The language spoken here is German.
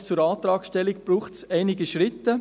Bis zur Antragstellung braucht es einige Schritte.